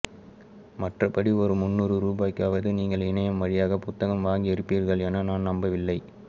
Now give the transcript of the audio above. மற்றபடி ஒரு முந்நூறு ரூபாய்க்காவது நீங்கள் இணையம் வழியாக புத்தகம் வாங்கியிருப்பீர்கள் என நான் நம்பவில்லை